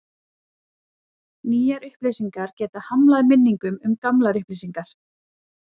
Nýjar upplýsingar geta hamlað minningum um gamlar upplýsingar.